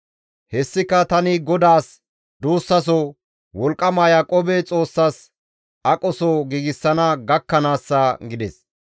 Hessika tani GODAAS duussaso, wolqqama Yaaqoobe Xoossas aqoso giigsana gakkanaassa» gides.